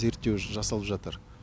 зерттеу жасалып жатыр